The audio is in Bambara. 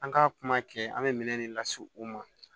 An ka kuma kɛ an bɛ minɛn de lase u ma